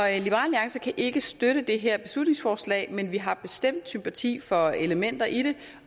alliance kan ikke støtte det her beslutningsforslag men vi har bestemt sympati for elementer i det